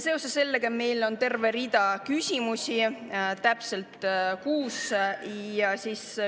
Seoses sellega on meil terve rida küsimusi, täpsemalt kuus.